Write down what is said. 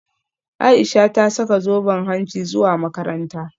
Aisha ta saka zoben hanci zuwa makaranta